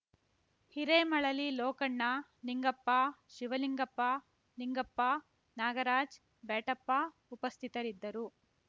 ಹಿರೇಮಳಲಿ ಲೋಕಣ್ಣ ನಿಂಗಪ್ಪ ಶಿವಲಿಂಗಪ್ಪ ನಿಂಗಪ್ಪ ನಾಗರಾಜ್‌ ಬ್ಯಾಟಪ್ಪ ಉಪಸ್ಥಿತರಿದ್ದರು